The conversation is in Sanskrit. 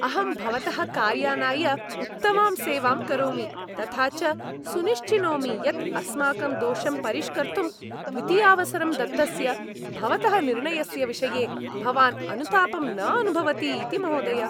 अहं भवतः कार्यानाय उत्तमां सेवां करोमि, तथा च सुनिश्चिनोमि यत् अस्माकं दोषं परिष्कर्तुं द्वितीयावसरं दत्तस्य भवतः निर्णयस्य विषये भवान् अनुतापं न अनुभवति इति, महोदय